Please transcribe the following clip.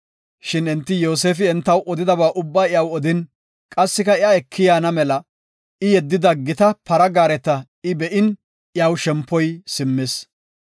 Shin enti Yoosefi entaw odidaba ubbaa iyaw odin, qassika iya eki yaana mela I yeddida gita para gaareta I be7in iyaw shempoy simmis.